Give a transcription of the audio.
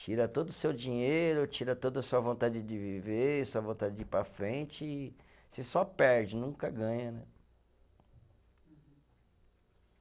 Tira todo o seu dinheiro, tira toda a sua vontade de viver, sua vontade de ir para frente e você só perde, nunca ganha, né?